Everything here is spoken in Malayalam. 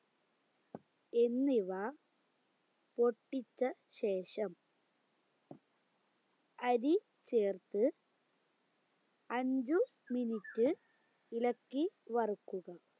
എന്നിവ പൊട്ടിച്ച ശേഷം അരി ചേർത്ത് അഞ്ച് minute ഇളക്കി വറുക്കുക